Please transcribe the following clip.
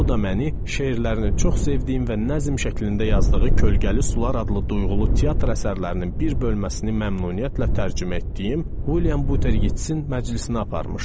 O da məni şeirlərini çox sevdiyim və nəzm şəklində yazdığı kölgəli sular adlı duyğulu teatr əsərlərinin bir bölməsini məmnuniyyətlə tərcümə etdiyim William Butler Yeatsin məclisinə aparmışdı.